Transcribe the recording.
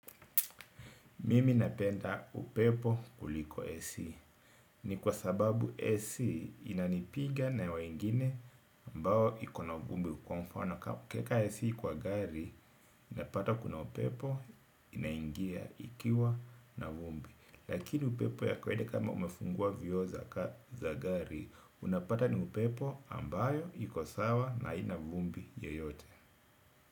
Mimi napenda upepo kuliko AC. Ni kwa sababu AC inanipiga na wengine ambayo ikona vumbi kwa mfano. Ukiweka AC kwa gari unapata kuna upepo inaingia ikiwa na vumbi. Lakini upepo ya kawaida kama umefungua viooza za gari, unapata ni upepo ambayo ikosawa na haina vumbi yoyote.